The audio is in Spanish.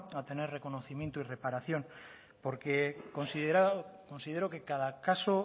a tener el reconocimiento y reparación porque considero que cada caso